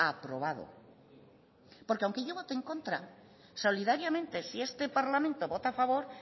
aprobado porque aunque yo vote en contra solidariamente si este parlamento vota a favor